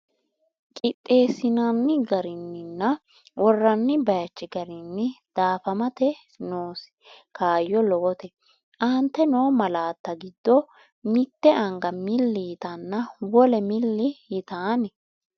Qixxeessinanni garinninna worranni bayichi garinni daafamate noosi kaayyo lowote, Aante noo malaatta giddo mitte anga milli yitanna wole milli yitan?